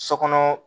So kɔnɔ